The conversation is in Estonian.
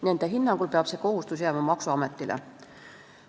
Nende hinnangul peab see kohustus jääma maksuametile.